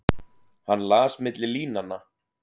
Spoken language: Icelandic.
Hann las milli línanna.